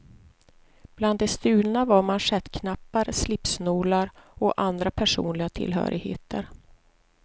Bland det stulna var manschettknappar, slipsnålar och andra personliga tillhörigheter.